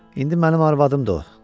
İndi mənim arvadımdır o.